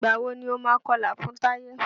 Ìgbà wo ni o máa kọlà fún Táyé?